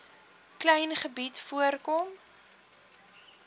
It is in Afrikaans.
klein gebied voorkom